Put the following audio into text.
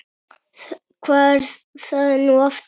Hvað er það nú aftur?